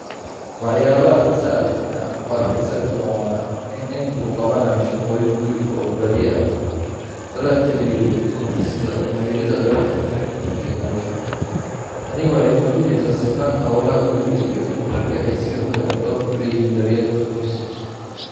Waxyaabaha xiisaha leh ee aan ku arkay sawirkan waa in nin uu qabanayo shaqooyin guri oo badiyaa lala xiriiriyo dumarka sida mayridda dharka, karinta iyo nadiifinta. Tani waxay muujinaysaa sinnaanta howlaha guriga iyo in ragga ay sidoo kale door ku leeyihiin daryeelka qoyska.